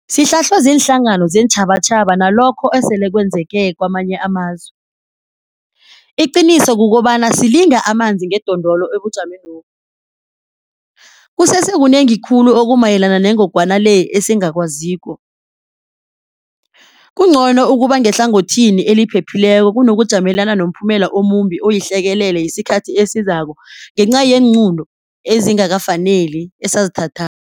Sihlahlwe ziinhlangano zeentjhabatjhaba nalokho esele kwenzeke kamanye amazwe. Iqiniso kukobana silinga amanzi ngedondolo ebujamenobu. Kusese kunengi khulu okumayelana nengogwana le esingakwaziko. Kungcono ukuba ngehlangothini eliphephileko kunokujamelana nomphumela omumbi oyihlekelele yesikhathi esizako ngenca yeenqunto ezingakafaneli esazithathako.